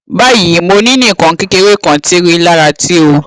bayi mo ni nikan kekere kan ti rilara ti o